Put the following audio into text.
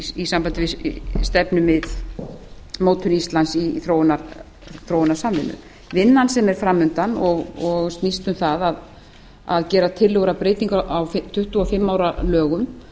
í sambandi við stefnumótun íslands í þróunarsamvinnu vinnan sem er fram undan og snýst um það að gera tillögur um breytingar á tuttugu og fimm ára lögum